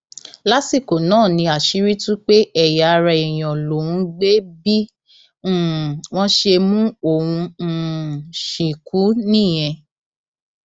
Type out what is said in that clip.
lásìkò náà ni àṣírí tú pé ẹyà ara èèyàn lòún gbé bí um wọn ṣe mú òun um ṣìnkún nìyẹn